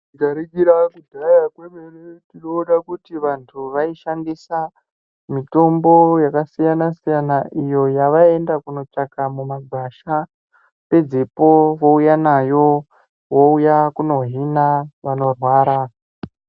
Tikaringira kudhaya kwemene tinoona kuti vantu vaishandisa mitombo yakasiyana -siyana iyo yavaienda kunotsvaka mumagwasha pedzepo vouya nayo vouya kunohina vanorwara.